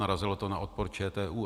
Narazilo to na odpor ČTÚ.